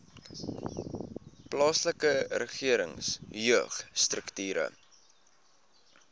plaaslike regering jeugstrukture